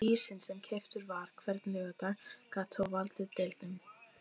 Ísinn sem keyptur var hvern laugardag gat þó valdið deilum.